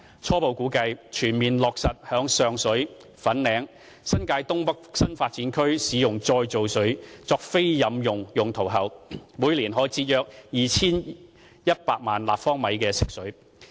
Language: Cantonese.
初步估計，全面落實在上水、粉嶺及新界東北新發展區使用再造水作非飲用用途後，每年可以節省約 2,100 萬立方米的食水。